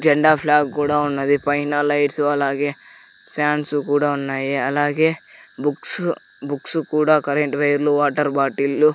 జెండా ఫ్లాగ్ కూడా ఉన్నది పైన లైట్లు అలాగే ఫ్యాన్సు కూడా ఉన్నాయి అలాగే బుక్సు బుక్సు కూడా కరెంట్ వైర్లు వాటర్ బాటిల్లు --